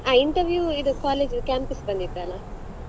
ಹ interview ಇದು college campus ಬಂದಿತ್ತಲ್ಲಾ.